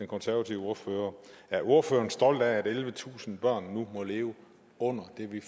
konservative ordfører er ordføreren stolt af at ellevetusind børn nu må leve under det vi